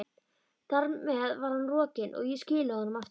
Þar með var hann rokinn, og ég skilaði honum aftur.